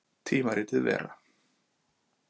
Tímaritið Vera.